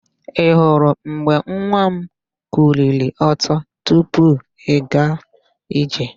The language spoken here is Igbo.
Ị hụrụ mgbe nwa m kuliri ọtọ bido ịga ije?